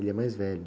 Ele é mais velho.